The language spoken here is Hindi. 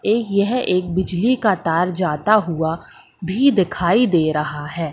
ये यह एक बिजली का तार जाता हुआ भी दिखाई दे रहा है।